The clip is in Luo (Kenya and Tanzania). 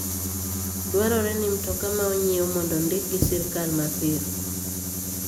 Dwarore ni mtoka ma onyiew mondo ondik gi sirkal mapiyo.